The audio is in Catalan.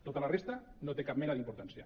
tota la resta no té cap mena d’importància